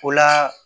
O la